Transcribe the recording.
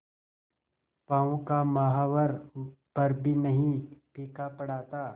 पांव का महावर पर भी नहीं फीका पड़ा था